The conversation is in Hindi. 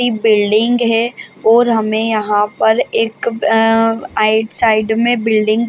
बिल्डिंग है और हमे यहाँ पर एक अ राईट साइड में बिल्डिंग --